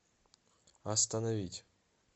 остановить